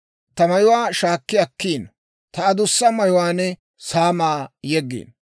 Ta mayuwaa shaakki akkiino; ta adussa mayuwaan saamaa yeggiino.